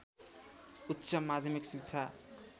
उच्च माध्यमिक शिक्षा